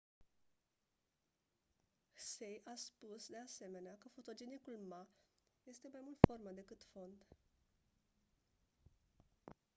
hsieh a spus de asemenea că fotogenicul ma este mai mult formă decât fond